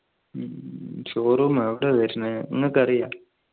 ഉം show room എവിടെയാ വരുന്നേ നിങ്ങൾക്ക് അറിയാ